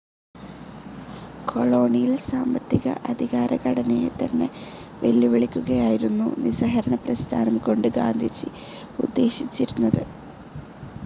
Colonial സാമ്പത്തിക, അധികാര ഘടനയെതന്നെ വെല്ലുവിളിക്കുകയായിരുന്നു നിസ്സഹകരണപ്രസ്ഥാനം കൊണ്ട് ഗാന്ധിജി ഉദ്ദേശിച്ചിരുന്നത്.